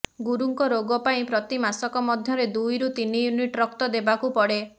ଗୁରୁଙ୍କ ରୋଗ ପାଇଁ ପ୍ରତି ମାସକ ମଧ୍ୟରେ ଦୁଇ ରୁ ତିନି ୟୁନିଟ ରକ୍ତ ଦେବାକୁପଡେ